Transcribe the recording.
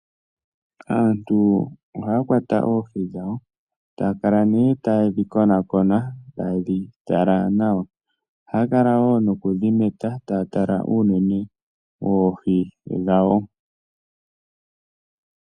Aantu ohaya kwata oohi dhawo, taya kala nee taye dhi konakona taye dhi tala nawa. Ohaya kala wo nokudhi meta taya tala uunene woohi dhawo.